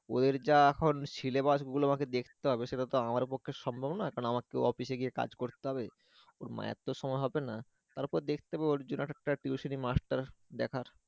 ওদের যা এখন syllabus গুলো আমাকে দেখতে হবে সেটাতো আমার পক্ষে সম্ভব না কারণ আমাকে office এ গিয়ে কাজ করতে হবে ওর মায়ের তো সময় হবে না তারপর দেখতে হবে ওর জন্য একটা tuition এর master দেখার